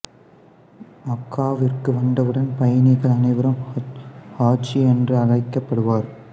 மக்காவிற்கு வந்தவுடன் பயணிகள் அனைவரும் ஹாஜி என்றே அழைக்கப் படுவர்